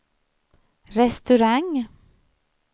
restaurang